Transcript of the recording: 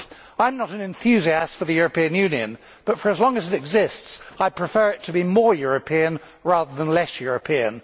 I am not an enthusiast for the European Union, but for as long as it exists, I prefer it to be more European rather than less European.